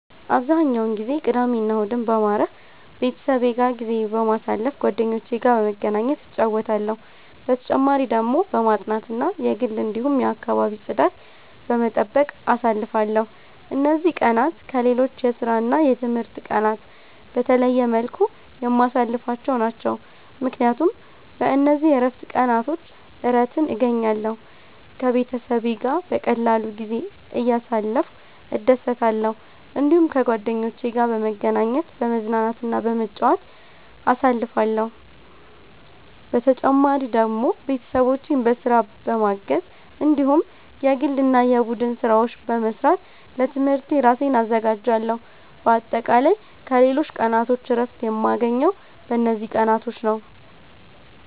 አብዛኛውን ጊዜ ቅዳሜና እሁድን በማረፍ፣ ቤተሰቤ ጋር ጊዜ በማሳለፋ ጓደኞቼ ጋር በመገናኘት እጫወታለሁ። በተጨማሪ ደግሞ በማጥናት እና የግል እንዲሁም የአከባቢ ጽዳት በመጠበቅ አሳልፍለሁ። እነዚህ ቀናት ከሌሎች የስራና የትምህርት ቀናት በተለየ መልኩ የማሳልፍቸው ናቸው፣ ምክንያቱም በእነዚህ የእረፍት ቀናቾች እረትን እገኛለሁ። ከቤተሰቤ ጋር በቀላሉ ጊዜ እያሳለፍኩ እደሰታለሁ። እዲሁም ከጓደኞቼ ጋር በመገናኘት፤ በመዝናናትና በመጫወት አሳልፍለሁ። በተጨማሪ ደግሞ ቤተሰቦቼን በስራ በማገዝ እንዲሁም የግል እና የቡድን ስራዎች በመስራት ለትምህርቴ እራሴን አዘጋጃለሁ። በአጠቃላይ ከሌሎች ቀናቶች እረፍት የማገኘው በእነዚህ ቀናቶች ነዉ።